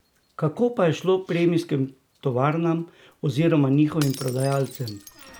Kako pa je šlo premijskim tovarnam oziroma njihovim prodajalcem?